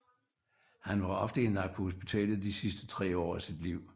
Han var ofte indlagt på hospitalet de sidste tre år af sit liv